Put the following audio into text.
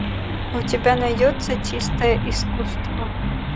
у тебя найдется чистое искусство